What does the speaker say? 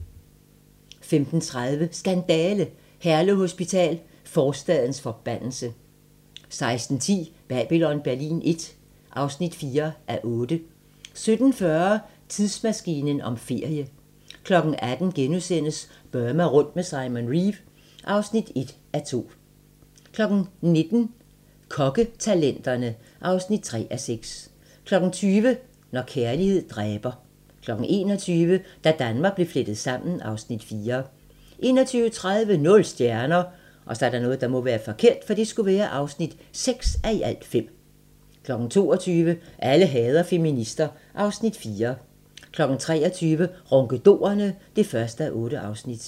15:30: Skandale! - Herlev Hospital: forstadens forbandelse 16:10: Babylon Berlin I (4:8) 17:40: Tidsmaskinen om ferie 18:00: Burma rundt med Simon Reeve (1:2)* 19:00: Kokketalenterne (3:6) 20:00: Når kærlighed dræber 21:00: Da Danmark blev flettet sammen (Afs. 4) 21:30: Nul stjerner (6:5) 22:00: Alle hader feminister (Afs. 4) 23:00: Ronkedorerne (1:8)